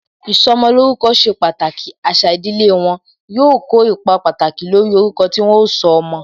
Ìsọmolórúkọ ṣe pàtàkì, àṣà ìdílé wọn, yóò kó ipa pàtàkì lórí orúkọ tí wọn ó sọ ọmọ